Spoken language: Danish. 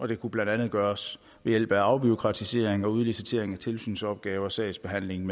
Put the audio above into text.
det kunne blandt andet gøres ved hjælp af afbureaukratisering og udlicitering af tilsynsopgaver sagsbehandling